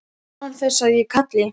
Kemur án þess að ég kalli.